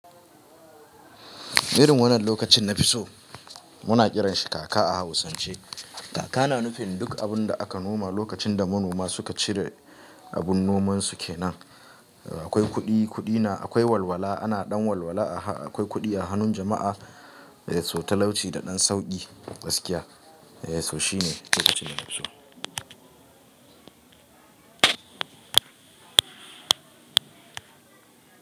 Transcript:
Irin wannan lokacin nafi so muna kiranshi kaka a hausance. Kaka na nufin duk abun da aka noma lokacin da manoma suka cire abun nomansu kenan. Akwai kuɗi, kuɗi na, akwai walwala ana ɗan walwala a ha-, akwai kuɗi a hannun jama'a. So talauci da ɗan sauƙi, gaskiya. Eh so shine lokacin da nafi so.